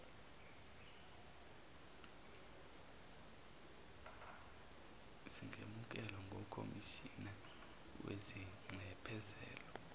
zingemukelwa ngukhomishina wezinxephezelo